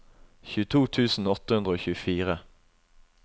tjueto tusen åtte hundre og tjuefire